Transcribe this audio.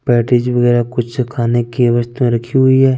Patties वगेरा कुछ खाने की वस्रतुए रखी हुई है।